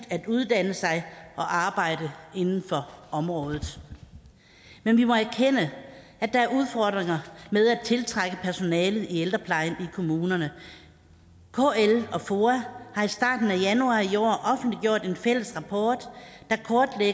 at uddanne sig og arbejde inden for området men vi må erkende at der er udfordringer med at tiltrække personale i ældreplejen i kommunerne kl og foa har i starten af januar i år offentliggjort en fælles rapport